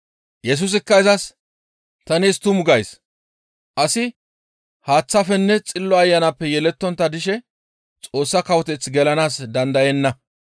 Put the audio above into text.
Yesusikka izas, «Ta nees tumu gays; asi haaththafenne Xillo Ayanappe yelettontta dishe Xoossa kawoteth gelanaas dandayenna.